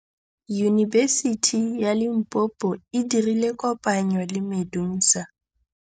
Yunibesiti ya Limpopo e dirile kopanyô le MEDUNSA.